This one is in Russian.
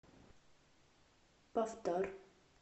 повтор